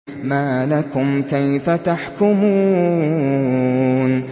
مَا لَكُمْ كَيْفَ تَحْكُمُونَ